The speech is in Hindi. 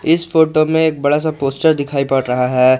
इस फोटो में एक बड़ा सा पोस्टर दिखाई पड़ रहा है।